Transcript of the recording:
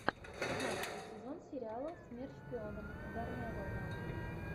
пятнадцатый сезон сериала смерть шпионам ударная волна